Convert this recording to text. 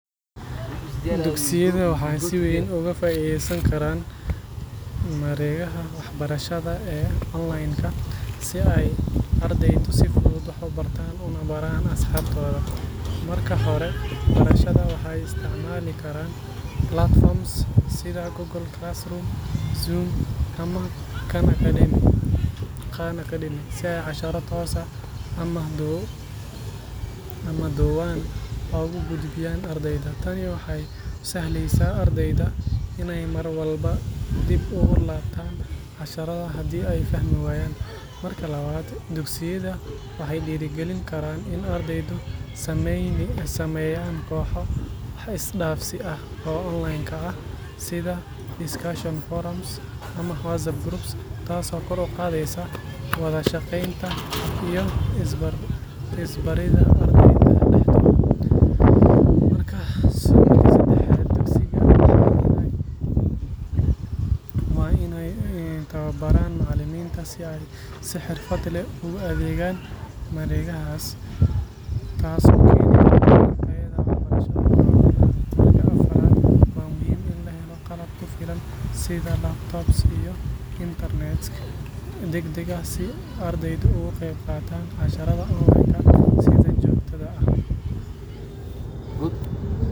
Dugsiyada waxay si weyn uga faa’iidaysan karaan mareegaha waxbarashada ee online-ka si ay ardaydu si fudud wax u bartaan una baraan asxaabtooda. Marka hore, barayaasha waxay isticmaali karaan platforms sida Google Classroom, Zoom ama Khan Academy si ay casharro toos ah ama duuban ugu gudbiyaan ardayda. Tani waxay u sahlaysaa ardayda inay mar walba dib ugu laabtaan casharrada haddii ay fahmi waayaan. Marka labaad, dugsiyada waxay dhiirrigelin karaan in ardaydu sameeyaan kooxo wax-is-dhaafsi ah oo online ah, sida discussion forums ama WhatsApp groups, taasoo kor u qaadaysa wada shaqeynta iyo is baridda ardayda dhexdooda. Marka saddexaad, dugsiyada waa inay tababaraan macallimiinta si ay si xirfad leh ugu adeegaan mareegahaas, taasoo keeni karta in tayada waxbarashada korodho. Marka afraad, waa muhiim in la helo qalab ku filan sida laptops iyo internet degdeg ah si ardaydu uga qeyb qaataan casharrada online-ka si joogto ah.